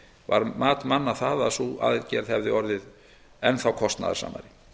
var mat manna það að sú aðgerð hefði orðið enn þá kostnaðarsamari